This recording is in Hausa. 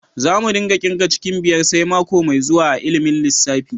Za mu dinga kirga cikin biyar sai mako mai zuwa a'ilimin lissafi.